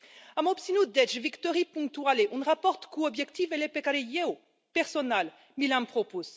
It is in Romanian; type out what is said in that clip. Am obținut, deci, victorii punctuale în raport cu obiectivele pe care eu personal mi le am propus.